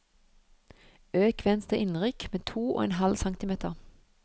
Øk venstre innrykk med to og en halv centimeter